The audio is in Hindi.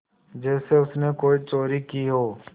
जैसे उसने कोई चोरी की हो